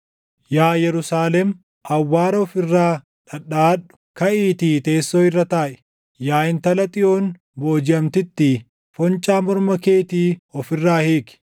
Yaa Yerusaalem, awwaara of irraa dhadhaʼadhu; kaʼiitii teessoo irra taaʼi. Yaa intala Xiyoon boojiʼamtittii, foncaa morma keetii of irraa hiiki.